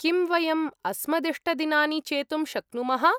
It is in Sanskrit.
किम्, वयम् अस्मदिष्टदिनानि चेतुं शक्नुमः?